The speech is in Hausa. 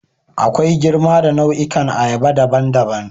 Akwai girma da nau'ikan ayaba daban-daban.